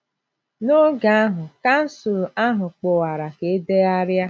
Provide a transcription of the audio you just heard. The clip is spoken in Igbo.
N'otu oge ahụ, kansụl ahụ kpọkwara ka e degharịa.